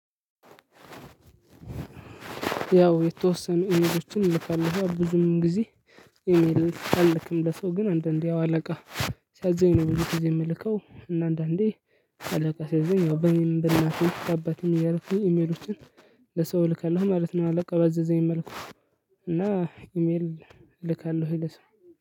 ያው የተወሰኑ ኢሜሎችን እልካለሁ ብዙም ጊዜ። ኢሜል አልልክም ለሰው ግን አንዳንዴ ያው አለቃ ሲያዘኝ ነው ብዙ ጊዜ የምልከው እና አንዳንዴ አለቃ ሲያዘኝ ያው በኔም በእናቴም በአባቴም እያረኩኝ ኢሜሎችን። ለሰው እልካለሁ ማለት ነው። አለቃው ባዘዘኝ መልኩ እና ኢሜል እልካለሁኝ ለሰው።